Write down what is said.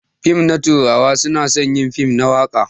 Fim na turawa na son yin fim na waka.